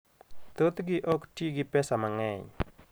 Thothgi ok ti gi pesa mang'eny.